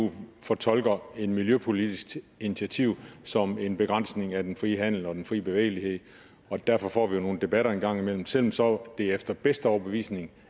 at eu fortolker et miljøpolitisk initiativ som en begrænsning af den frie handel og den frie bevægelighed og derfor får vi jo nogle debatter en gang imellem selv om det så efter bedste overbevisning